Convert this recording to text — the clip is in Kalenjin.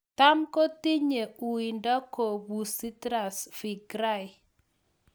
Cham kotinye uindo kobuusi Tsavingrai